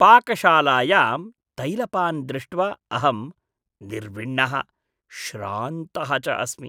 पाकशालायां तैलपान् दृष्ट्वा अहं निर्विण्णः श्रान्तः च अस्मि।